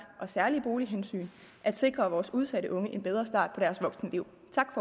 og særlige bolighensyn at sikre vores udsatte unge en bedre start på deres voksenliv